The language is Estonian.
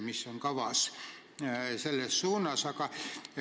Mis on kavas selles suunas teha?